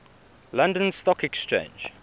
london stock exchange